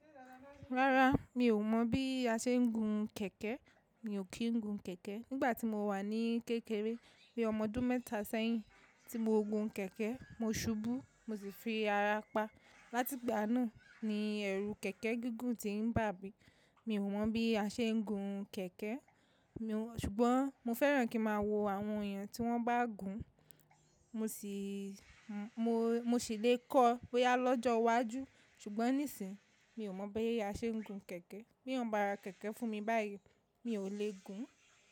Rárá, mi ò mọ̀ bí a ṣe ń gun kẹ̀kẹ́. Mi ò kí ń gun kẹ̀kẹ́. Nígbà tí mo wà ní kékeré, bí ọmọ ọdún mẹ́ta sẹ́yìn tí mo gun kẹ̀kẹ́, mo subú mo sì fi ara pa. Látìgbà náà ni ẹrù kẹ̀kẹ́ gígùn ti ń bà mí. Mi ò mọ̀ bí a ṣe ń gun kẹ̀kẹ́. Ṣùgbọ́n mo fẹ́ràn kí máa wo àwọn èèyàn tí wọ́n bá gùn, mo sì lè kọ́ bóyá lọ́jọ́ iwájú. Ṣùgbọ́n nísìí, mi ò mọ̀ bí a ṣe ń gun kẹ̀kẹ́. Bí wọ́n bá ra kẹ̀kẹ́ fún mi báyìí, mi ò lè gùn.